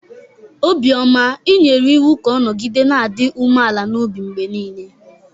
Obioma i nyere iwu ka ọ nọgide na-adị umeala n'obi mgbe niile!